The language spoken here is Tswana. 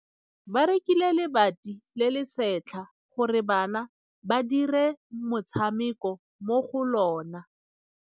Ba rekile lebati le le setlha gore bana ba dire motshameko mo go lona.